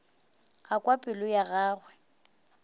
a kwa pelo ya gagwe